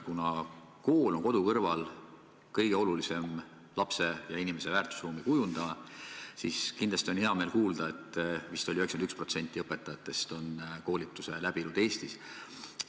Kuna kool on kodu kõrval kõige olulisem lapse ja inimese väärtusruumi kujundaja, siis kindlasti on hea meel kuulda, et 91% õpetajatest on koolituse läbinud Eestis.